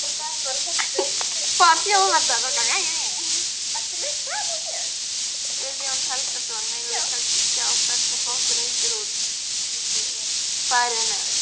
Guðjón Helgason: Megum við kannski sjá hvernig fóturinn lítur út?